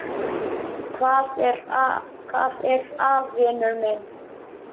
Hvað er að, vinur minn?